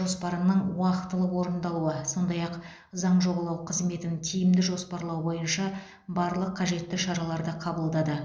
жоспарының уақтылы орындалуы сондай ақ заң жобалау қызметін тиімді жоспарлау бойынша барлық қажетті шараларды қабылдады